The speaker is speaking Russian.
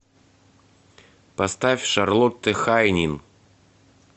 поставь шарлотте хайнин